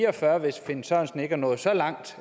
og fyrre hvis finn sørensen ikke er nået så langt